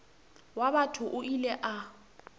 wa batho o ile a